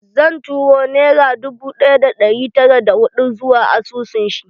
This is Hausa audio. Zan turo nera dubu ɗaya da ɗari tara da hudu zuwa asusun shi